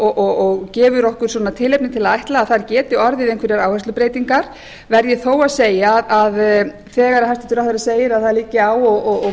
góð og gefur okkur tilefni til að ætla að þar geti orðið einhverjar áherslubreytingar verð ég þó að segja að þegar hæstvirtur ráðherra segir að það liggi á og